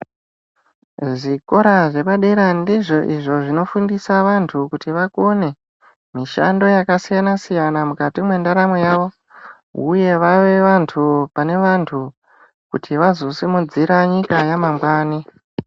Zvikora zvepa dera ndizvo izvo zvino fundisa vantu kuti vakone mishando yaka siyana siyana mukati mwe ndaramo yavo uye vave vantu pane vantu kuti vazo sumudzira nyika ya mangwani.